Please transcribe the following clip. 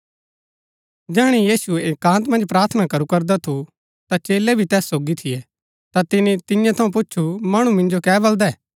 जैहणै यीशु एकान्त मन्ज प्रार्थना करू करदा थू ता चेलै भी तैस सोगी थियै ता तिनी तियां थऊँ पूच्छु मणु मिन्जो कै बलदै